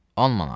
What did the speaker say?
10 manat.